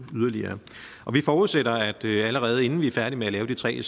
yderligere vi forudsætter at allerede inden vi er færdige med at lave de tre